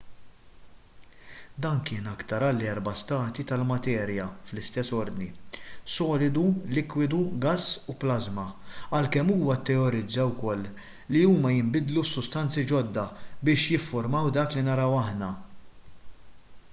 dan kien aktar bħall-erba' stati tal-materja fl-istess ordni: solidu likwidu gass u plażma għalkemm huwa tteorizza wkoll li huma jinbidlu f'sustanzi ġodda biex jiffurmaw dak li naraw aħna